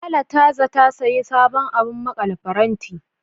Lala ta zata sayi sabon abun maƙale faranti.